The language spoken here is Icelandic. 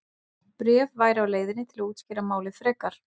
Bréf væri á leiðinni til að útskýra málið frekar.